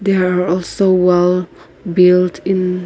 there are also wall built in.